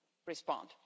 respond.